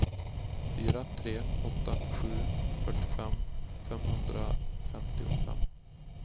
fyra tre åtta sju fyrtiofem femhundrafemtiofem